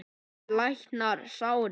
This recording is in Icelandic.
Tíminn læknar sárin.